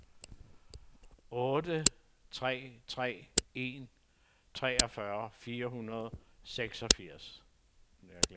otte tre tre en treogfyrre fire hundrede og seksogfirs